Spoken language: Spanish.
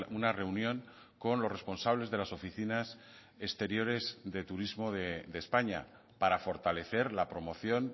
una reunión con los responsables de las oficinas exteriores de turismo de españa para fortalecer la promoción